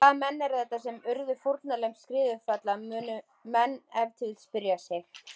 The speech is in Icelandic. Hvaða menn eru þetta sem urðu fórnarlömb skriðufalla, munu menn ef til vill spyrja sig.